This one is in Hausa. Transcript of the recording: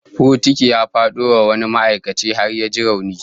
Bokiti ya fado wa wani ma'aikaci har ya ji rauni